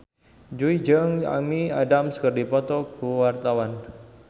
Jui jeung Amy Adams keur dipoto ku wartawan